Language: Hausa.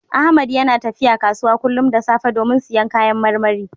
Ahmad yana tafiya kasuwa kullum da safe domin siyan kayan marmari.